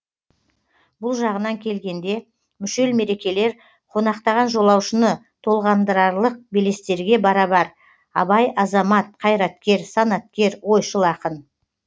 бұл жағынан келгенде мүшел мерекелер қонақтаған жолаушыны толғандырарлық белестерге барабар абай азамат қайраткер санаткер ойшыл ақын